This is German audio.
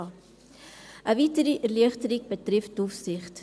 Eine weitere Erleichterung betrifft die Aufsicht.